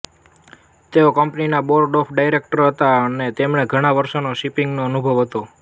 તેઓ કંપનીના board of ડાયરેક્ટરમાં હતાં અને તેમને ઘણાં વર્ષોનો શિપીંગનો અનુભવ હતો